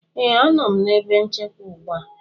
ee, a nọ m na ebe nchekwa ugbu a